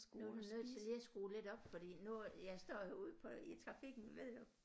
Nu er du nødt til lige at skrue lidt op fordi nu jeg står jo ude på i trafikken ved du